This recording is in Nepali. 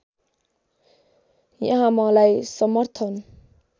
यहाँ मलाई समर्थन